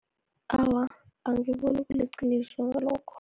Awa, angiboni kuliqiniso ngalokho.